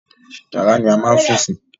Yàrá ni a máa ń sùn sí.